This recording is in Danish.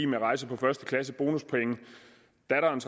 rejser på første klasse bonuspoint